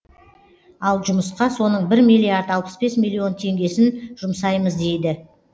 ал жұмысқа соның бір миллиард алпыс бес миллион теңгесін жұмсаймыз дейді